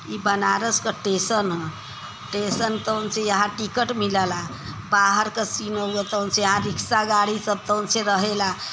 इ बनारस का टेसन ह। टेसन यहाँ टिकट मिलेला बाहर का सीन रिक्सा गाड़ी सब तवन से रहेला।